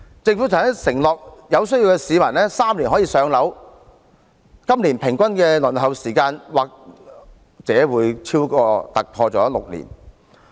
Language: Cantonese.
政府曾承諾有需要的市民3年可以"上樓"，但今年公屋的平均輪候時間或會突破6年。